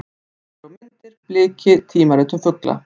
Heimildir og myndir: Bliki: tímarit um fugla.